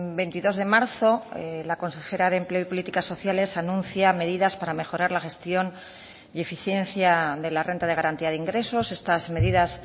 veintidós de marzo la consejera de empleo y políticas sociales anuncia medidas para mejorar la gestión y eficiencia de la renta de garantía de ingresos estas medidas